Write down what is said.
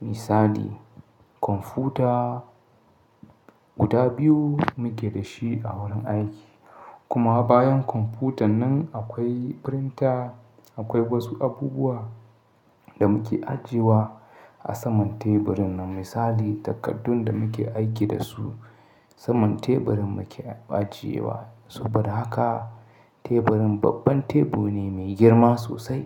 Misali, kwamfuta guda biyu muke da shi a wurin aiki. Kuma bayan kwamfutan nan akwai firinta. Akwai wasu abubuwa da muke ajiyewa a saman teburin nan. Misali, takardun da muke aiki da su saman teburin muke ajiyewa. Saboda haka teburin babban tebur ne mai girma sosai.